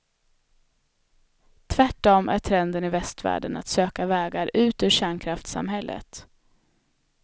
Tvärtom är trenden i västvärlden att söka vägar ut ur kärnkraftssamhället.